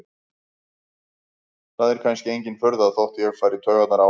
Það er kannski engin furða þótt ég fari í taugarnar á henni.